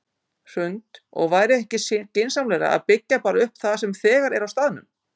Hrund: Og væri ekki skynsamlegra að byggja bara upp það sem þegar er á staðnum?